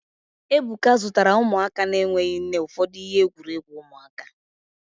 Ebuka zụtara ụmụaka na-enweghị nne ụfọdụ ihe egwuregwu ụmụaka